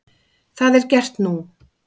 Það er gert nú.